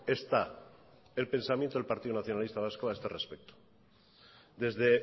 está el pensamiento del partido nacionalista vasco a este respecto desde